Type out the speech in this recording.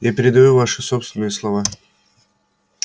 я передаю ваши собственные слова